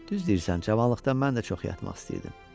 Düz deyirsən, cavanlıqda mən də çox yatmaq istəyirdim.